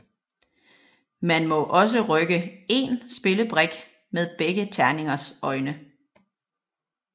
Man må også rykke én spillebrik med begge terningers øjne